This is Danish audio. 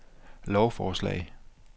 lovforslag